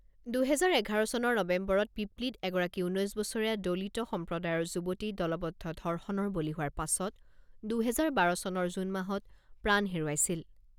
দুহেজাৰ এঘাৰ চনৰ নৱেম্বৰত পিপলিত এগৰাকী ঊনৈছ বছৰীয়া দলিত সম্প্ৰদায়ৰ যুৱতী দলবদ্ধ ধৰ্ষণৰ বলি হোৱাৰ পাছত দুহেজাৰ বাৰ চনৰ জুন মাহত প্ৰাণ হেৰুৱাইছিল।